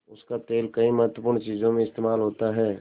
उसका तेल कई महत्वपूर्ण चीज़ों में इस्तेमाल होता है